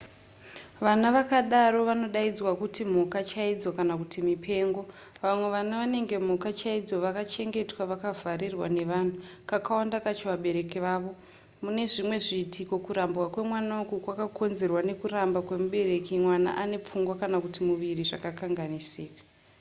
vana vakadaro vanodaidzwa kuti mhuka chaidzo kana kuti mipengo. vamwe vana vanenge mhuka chaidzo vakachengetwa vakavharirwa nevanhu kakawanda kacho vabereki vavo; mune zvimwe zviitiko kurambwa kwemwana uku kwakakonzerwa nekuramba kwemubereki mwana ane pfungwa kana kuti muviri zvakakanganisika